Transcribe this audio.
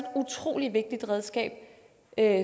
utrolig vigtigt redskab at